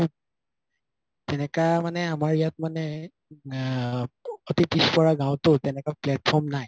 এনেকা মানে আমাৰ ইয়াত মানে আ এতি পিছ পৰা গাওঁতো তেনেকুৱা platform নাই